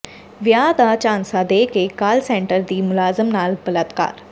ਵਿਆਹ ਦਾ ਝਾਂਸਾ ਦੇ ਕੇ ਕਾਲ ਸੈਂਟਰ ਦੀ ਮੁਲਾਜ਼ਮ ਨਾਲ ਬਲਾਤਕਾਰ